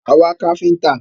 À ń wá káfíńńtà.